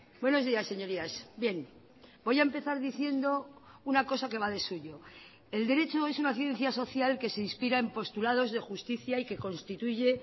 buenos días señorías bien voy a empezar diciendo una cosa que va de suyo el derecho es una ciencia social que se inspira en postulados de justicia y que constituye